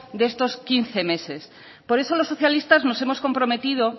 de estos quince meses por eso los socialistas nos hemos comprometido